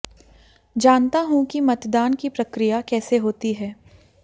जानता हूं कि मतदान की प्रक्रिया कैसे होती है